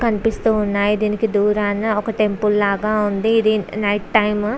కనిపిస్తున్నాయి దీనికి దూరాన ఒక టెంపుల్ లాగా ఉంది ఇది నైట్ టైం .